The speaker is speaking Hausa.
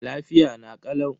Lafiya na kalau.